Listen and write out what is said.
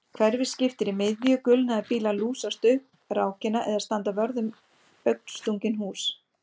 Hverfið skiptir í miðju gulnaðir bílar lúsast upp rákina eða standa vörð um augnstungin hús